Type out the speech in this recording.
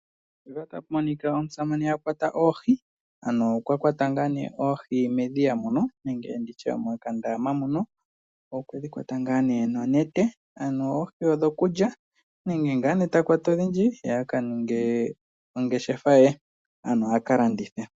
Mpaka otapu monika omusamane akwata oohi, ano okwa kwata ngaa nee oohi medhiya muno nenge nditye mokandama muno, okwedhi kwata ngaa nee nonete , ano oohi odhokulya nenge ngaa nee takwata odhindji ye akaninge ongeshefa ye ano a kalandithe